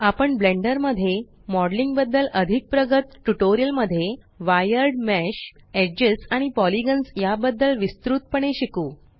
आपण ब्लेंडर मध्ये मॉडेलिंग बद्दल अधिक प्रगत ट्यूटोरियल मध्ये वायर्ड मेश एजेस आणि पॉलिगॉन्स या बद्दल विस्तृत पणे शिकू